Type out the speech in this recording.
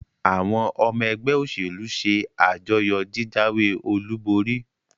àwọn ọmọ ẹgbẹ́ òṣèlú se àjọyọ̀ jíjáwé-olúborí.